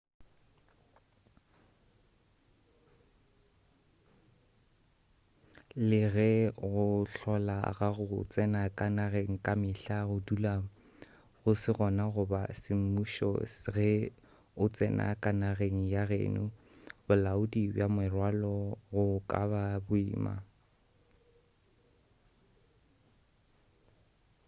le ge go hlola ga go tsena ka nageng ka mehla go dula go se gona goba semmušo ge o tsena ka nageng ya geno bolaodi bja merwalo go ka ba boima